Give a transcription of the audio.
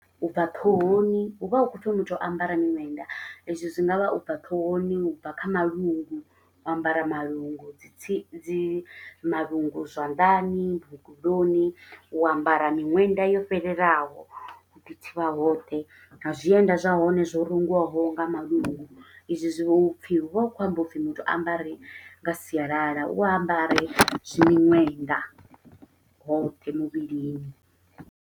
U bva ṱhohoni hu vha hu khou pfi muthu a ambare miṅwenda. I zwi zwi nga vha ubva ṱhohoni, u bva kha malungu, u ambara malungu dzi tsi dzi, malungu zwanḓani, mukuloni. U ambara miṅwenda yo fhelelaho, u ḓi thivha hoṱhe, na zwienda zwa hone zwo rungiwaho nga malungu. I zwi zwi vha u pfi hu vha hu khou amba upfi muthu a ambare nga sialala. U ambare zwi miṅwenda hoṱhe muvhilini.